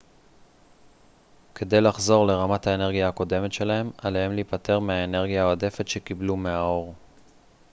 כדי לחזור לרמת האנרגיה הקודמת שלהם עליהם להיפטר מהאנרגיה העודפת שקיבלו מהאור